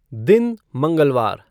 दिन मंगलवार